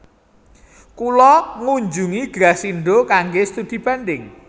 Kula ngunjungi Grasindo kangge studi banding